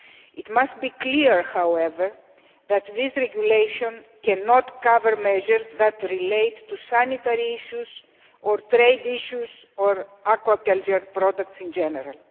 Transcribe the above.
It must be clear, however, that this regulation cannot cover measures which relate to sanitary issues or trade issues or aquaculture products in general.